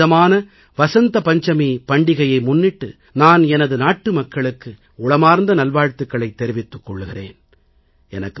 இந்தப் புனிதமான வசந்த பஞ்சமி பண்டிகையை முன்னிட்டு நான் எனது நாட்டுமக்களுக்கு உளமார்ந்த நல்வாழ்த்துக்களைத் தெரிவித்துக் கொள்கிறேன்